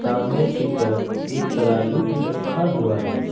सामने की तरफ एक तराजू भी रखा हुआ है।